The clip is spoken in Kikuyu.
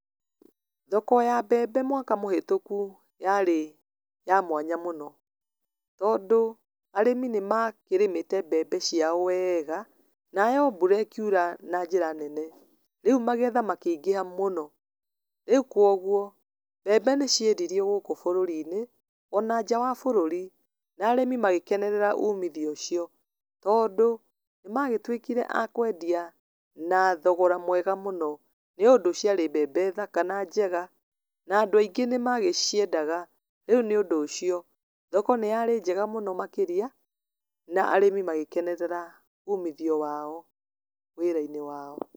Thoko ya mbembe mwaka mũhetũku yarĩ ya mwanya mũno, tondũ, arĩmi nĩ makĩrĩmĩte mbembe ciao weega, nayo mbura ĩkiura na njĩra nene, rĩu magetha makĩingĩha mũno, rĩu kwoguo mbembe nĩciendirio gũkũ bũrũri-inĩ, ona nja wa bũrũri, na arĩmi magĩkenerera umithio ũcio, tondũ nĩ magĩtuĩkire a kwendia na thogora mwega mũno, nĩ ũndũ ciarĩ mbembe thaka na njega, na andũ aingĩ nĩ magĩciendaga, rĩu nĩ ũndũ ũcio thoko nĩ yarĩ njega makĩria, na arĩmi magĩkenerera umithio wao wĩra-inĩ wao.